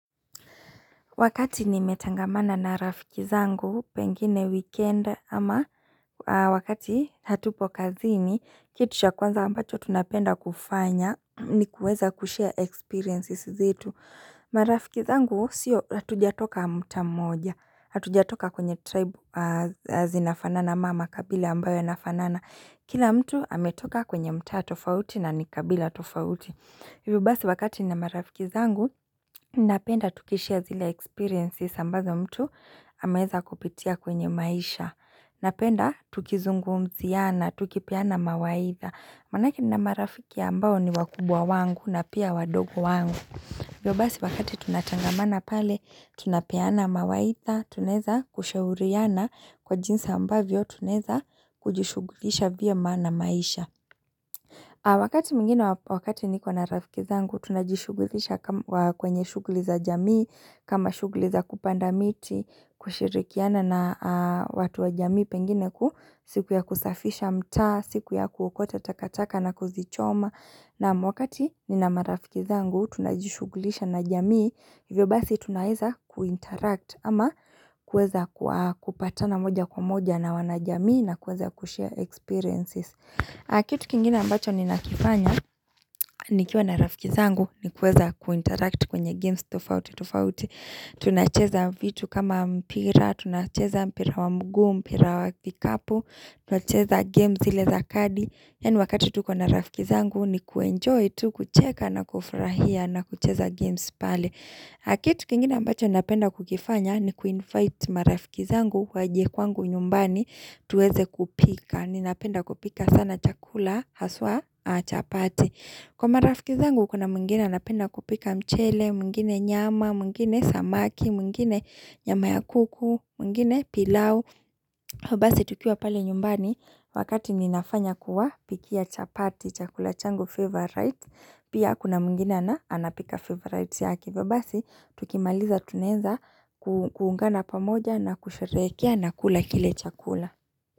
Wakati nimetangamana na rafiki zangu pengine weekend ama wakati hatupo kazi ni kitu cha kwanza ambacho tunapenda kufanya ni kuweza kushare experiences zetu. Marafiki zangu sio hatujatoka mtaa mmoja. Hatujatoka kwenye tribe zinafanana ama kabila ambayo nafanana. Kila mtu ametoka kwenye mtaa tofauti na nikabila tofauti. hiVyo basi wakati ni marafiki zangu, napenda tukishia zile experiences ambazo mtu ameweza kupitia kwenye maisha. Napenda tukizungumziana, tukipeana mawaitha. Manake ni marafiki ambao ni wakubwa wangu na pia wadogo wangu. hiVyo basi wakati tunatangamana pale, tunapeana mawaitha, tunaweza kushauriana kwa jinsa ambavyo, tunaweza kujishugulisha pio na maisha. Wakati mingine wakati nikuwa na rafiki zangu, tunajishugulisha kwenye shuguliza jamii, kama shuguliza kupanda miti, kushirikiana na watu wa jamii pengine kuhu, siku ya kusafisha mtaa, siku ya kuokota takataka na kuzichoma. Naam wakati nina marafiki zangu, tunajishugulisha na jamii, hivyo basi tunaweza kuinteract ama kuweza kupatana moja kwa moja na wanajamii na kueza kushare experiences. Kitu kingina ambacho nina kifanya, nikiwa na rafiki zangu ni kueza kuinteract kwenye games, tofauti, tofauti, tunacheza vitu kama mpira, tunacheza mpira wa mguu, mpira wa kikapu, tunacheza games zile za kadi. Yaani wakati tu kuna rafiki zangu ni kuenjoy, tu kucheka na kufrahia na kucheza games pale. Na kitu kingine ambacho napenda kukifanya ni kuinvite marafiki zangu waje kwangu nyumbani tuweze kupika. Ninapenda kupika sana chakula, haswaa chapati. Kwa marafiki zangu kuna mwingine anapenda kupika mchele, mwingine nyama, mwingine samaki, mwingine nyama ya kuku, mwingine pilau. Vyobasi tukiwa pale nyumbani wakati ninafanya kuwa pikia chapati chakula chango favorite. Pia kuna mwingine na anapika favorite yake. Vyobasi tukimaliza tunaeza kuungana pamoja na kusharehekea na kula kile chakula.